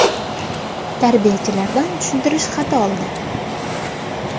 Tarbiyachilardan tushuntirish xati oldi.